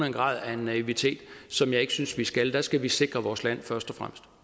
en grad af naivitet som jeg ikke synes vi skal der skal vi sikre vores land først